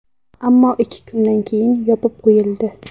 Ammo ikki kundan keyin yopib qo‘yildi.